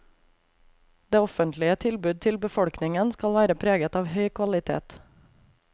Det offentlige tilbud til befolkningen skal være preget av høy kvalitet.